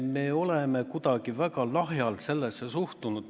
Me oleme kuidagi väga lahjalt sellesse suhtunud.